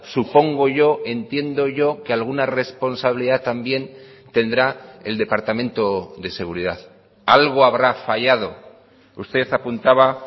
supongo yo entiendo yo que alguna responsabilidad también tendrá el departamento de seguridad algo habrá fallado usted apuntaba